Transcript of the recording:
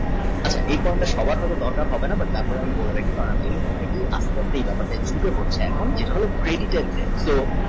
আচ্ছা এই form টা সবার হইত দরকার হবে না তারপরে মনে রাখি ব্যাপার এখন যদি ধরো creditor